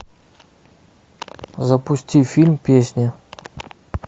запусти фильм песня